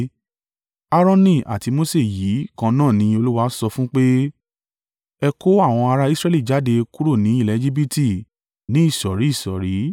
Aaroni àti Mose yìí kan náà ni Olúwa sọ fún pé, “Ẹ kó àwọn ará Israẹli jáde kúrò ni ilẹ̀ Ejibiti ní ìsọ̀rí ìsọ̀rí.”